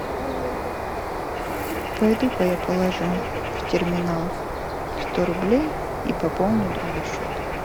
пойду ка я положу в терминал сто рублей и пополню другу счет